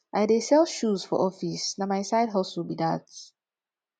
i dey sell shoes for office na my side hustle be dat